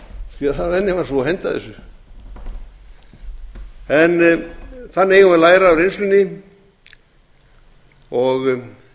stórskrýtinn venjan var sú að henda þessu þannig eigum við að læra af reynslunni og